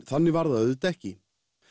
þannig var það auðvitað ekki